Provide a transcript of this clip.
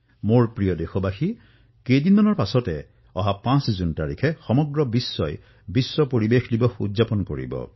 মোৰ মৰমৰ দেশবাসীসকল কিছু দিনৰ পিছত ৫ জুনত সমগ্ৰ বিশ্বই বিশ্ব পৰিবেশ দিৱস পালন কৰিব